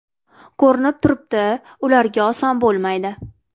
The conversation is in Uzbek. Ko‘rinib turibdi ularga oson bo‘lmaydi.